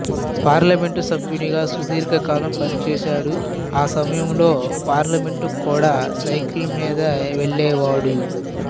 parliament సభ్యునిగా సుదీర్ఘ కాలం పనిచేశాడు ఆ సమయంలో పార్లమెంటుకు కూడా సైకిల్ మీద వెళ్ళేవాడు